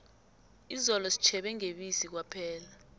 izolo sitjhebe ngebisi kwaphela